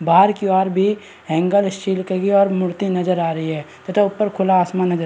बाहर के और भी हेंगर स्टील की और मूर्ति नज़र आ रही है तथा ऊपर खुला आसमान नज़र--